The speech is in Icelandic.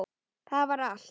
Það var allt.